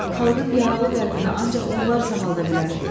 Xalqın yaralı qəlbinə ancaq onlar sağalda bilər.